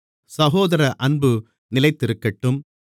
சகோதர அன்பு நிலைத்திருக்கட்டும்